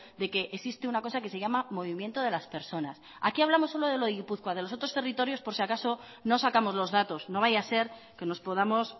de que existe una cosa que se llama movimiento de las personas aquí hablamos solo de lo de gipuzkoa de los otros territorios por si acaso no sacamos los datos no vaya a ser que nos podamos